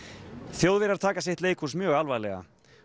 Þjóðverjar taka sitt leikhús mjög alvarlega